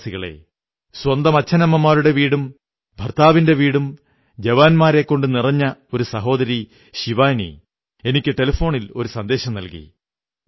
എന്റെ പ്രിയപ്പെട്ട ദേശവാസികളേ സ്വന്തം അച്ഛനമ്മമാരുടെ വീടും ഭർത്താവിന്റെ വീടും ജവാന്മാരെക്കൊണ്ടു നിറഞ്ഞ ഒരു സഹോദരി ശിവാനി എനിക്ക് ടെലിഫോണിൽ ഒരു സന്ദേശം നല്കി